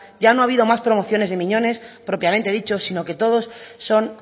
ya no ha habido más promociones de miñones propiamente dicho sino que todos son